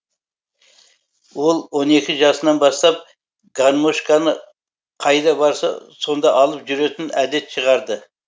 ол он екі жасынан бастап гармошканы қайда барса сонда алып жүретін әдет шығарды